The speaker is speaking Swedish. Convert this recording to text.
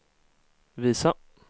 visa